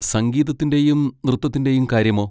സംഗീതത്തിന്റെയും നൃത്തത്തിന്റെയും കാര്യമോ?